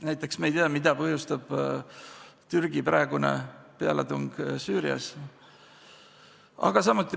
Näiteks me ei tea, mida põhjustab Türgi praegune pealetung Süürias.